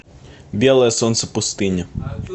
белое солнце пустыни